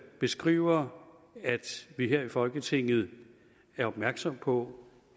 beskriver at vi her i folketinget er opmærksomme på